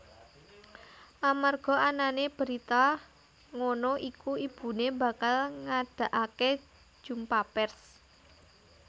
Amarga anané berita ngono iku ibuné bakal ngadakaké jumpa pers